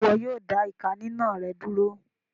Ṣe iwọ yóò dá ìká ninà rẹ dúró?